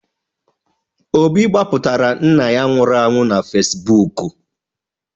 Obi gbapụtara nna ya nwụrụ anwụ na Fesibuuku.